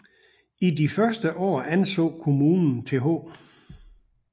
I de første år anså kommunen Th